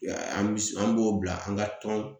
An b'o bila an ka tɔn